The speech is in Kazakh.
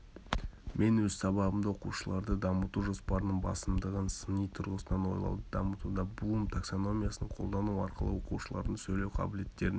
мен өз сабағымда оқушыларды дамыту жоспарының басымдығын сыни тұрғысынан ойлауды дамытуда блум таксономиясын қолдану арқылы оқушылардың сөйлеу қабілеттерін